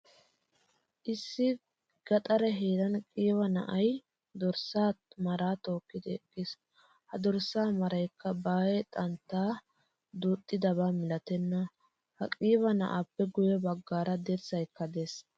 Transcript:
Issi gaxare heeran qiiba na'aay dorssa mara tookkidi eqqiis. Ha dorssa maraykka ba aaye xantta duuxxidaba milattena. Ha qiiba na'appe guye baggaara dirssaykka de'ees.